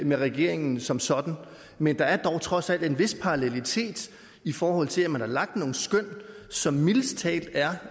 med regeringen som sådan men der er dog trods alt en vis parallelitet i forhold til at man har lagt nogle skøn som mildest talt er